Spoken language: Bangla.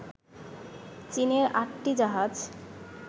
চীনের আটটি জাহাজ